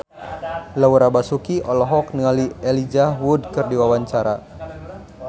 Laura Basuki olohok ningali Elijah Wood keur diwawancara